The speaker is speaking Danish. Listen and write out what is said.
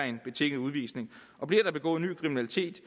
en betinget udvisning og bliver der begået ny kriminalitet